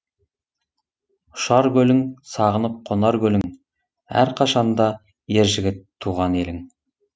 ұшар көлің сағынып қонар көлің әрқашанда ер жігіт туған елің